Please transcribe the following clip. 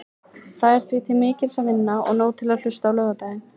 Það er því til mikils að vinna og nóg til að hlusta á laugardaginn.